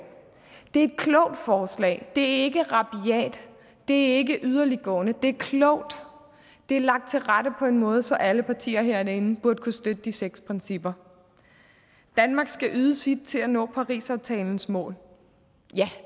det er et klogt forslag det er ikke rabiat det er ikke yderliggående det er klogt det er lagt til rette på en måde så alle partier herinde burde kunne støtte de seks principper danmark skal yde sit til at nå parisaftalens mål ja